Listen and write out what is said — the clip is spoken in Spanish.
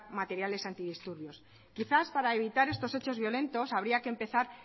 materiales antidisturbios quizás para evitar estos hechos violentos habría que empezar